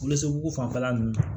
Wolonson fanfɛla nunnu na